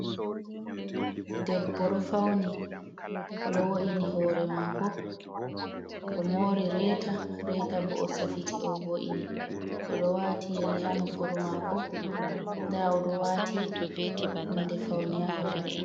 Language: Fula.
Debbo ɗo fauni, o ɗo wo'ini hore mako. O mori reta, reta bo o safiti o vo'ini. O ɗo wati yeri ha nofuru mako, nda o ɗo wati hunde faune ha hore.